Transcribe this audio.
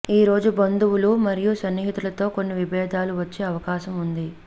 ఈ రోజు బంధువులు మరియు స్నేహితులతో కొన్ని విభేదాలు వచ్చే అవకాశం ఉంది